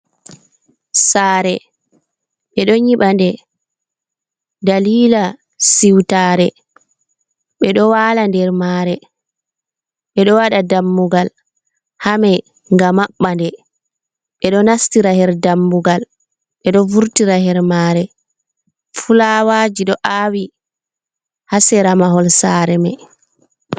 Saare ɓe ɗo nyiɓa nde dalila siutare, ɓe ɗo wala nder mare, ɓe ɗo waɗa dammungal hamei nga maɓɓa nde, be ɗo nastira her dammungal, ɓe ɗo vurtira her mare. Fulawaji ɗo aawi haa sera mahol saare mai.